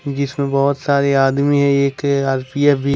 जिसमें बहुत सारे आदमी हैं एक आर_पी_एफ भी।